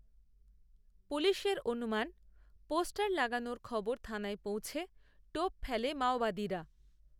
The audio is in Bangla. পুলিশের অনুমান পোস্টার লাগানোর খবর থানায় পৌঁছে, টোপ, ফেলে, মাওবাদীরা